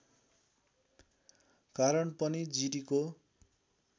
कारण पनि जिरीको